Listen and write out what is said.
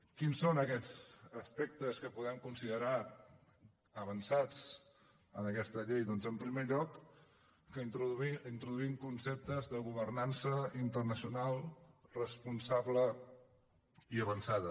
quins són aquests aspectes que podem considerar avançats en aquesta llei doncs en primer lloc que introduïm conceptes de governança internacional responsable i avançada